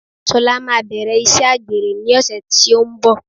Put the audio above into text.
Sola maa bẹ̀rẹ̀ iṣẹ́ àgbèrè ní ọ̀sẹ̀ tí ó ń bọ̀.